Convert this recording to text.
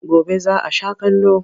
Gobe za a sha kallo.